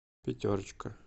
пятерочка